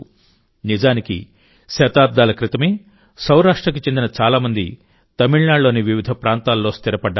నిజానికిశతాబ్దాల క్రితమే సౌరాష్ట్రకు చెందిన చాలా మంది తమిళనాడులోని వివిధ ప్రాంతాల్లో స్థిరపడ్డారు